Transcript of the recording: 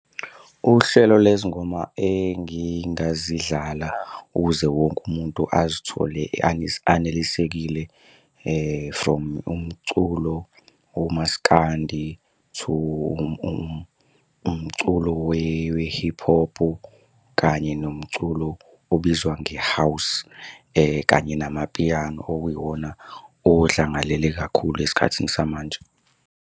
Uhlelo lwezingoma engingazidlala ukuze wonke umuntu azithole anelisekile from umculo omasikandi to umculo we-hip hop, kanye nomculo obizwa nge-house kanye namapiyano, okuyiwona odlangalele kakhulu esikhathini samanje.